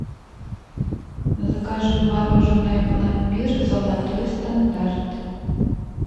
закажи мороженое пломбир золотой стандарт